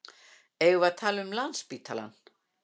Eigum við að tala um Landspítalann?